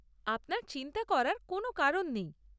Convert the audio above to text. আপনার চিন্তা করার কোনও কারণ নেই।